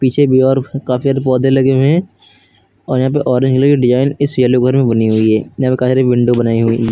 पीछे भी और काफी सारे पौधे लगे हुए हैं और यहाँ पे ऑरेंज वाली डिजाइन इस एलो घर में बनी हुई है। यहाँ पर काफी सारी विंडो बनाई हुई --